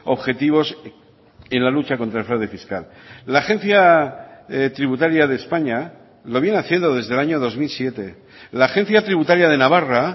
objetivos en la lucha contra el fraude fiscal la agencia tributaria de españa lo viene haciendo desde el año dos mil siete la agencia tributaria de navarra